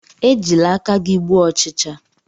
Ejila aka gi gbuo ochicha!